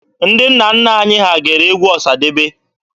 Ndị nna nna anyị ha gere egwu Ọsadebe.